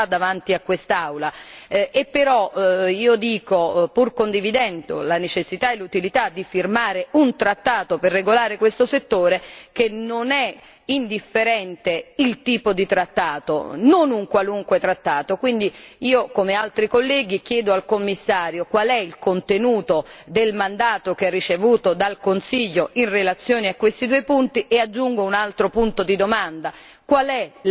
Però io dico, pur condividendo la necessità e l'utilità di firmare un trattato per regolare questo settore, che non è indifferente il tipo di trattato, non un qualunque trattato. Io, come altri colleghi, chiedo al Commissario qual è il contenuto del mandato che ha ricevuto dal Consiglio in relazione a questi due punti e aggiungo un altro punto di domanda qual è la posizione della Commissione?